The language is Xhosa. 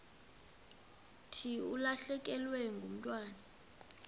thi ulahlekelwe ngumntwana